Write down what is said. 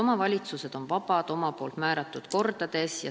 Omavalitsused on vabad oma kordi määrama.